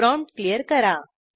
prompt clear करा